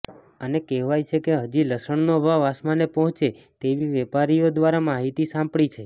અને કહેવાય છે કે હજી લસણનો ભાવ આસમાને પહોચે તેવી વેપારીઓ દ્વારા માહિતી સાંપડી છે